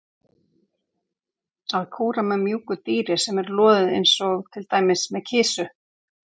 Að kúra með mjúku dýri sem er loðið eins og til dæmis með kisu.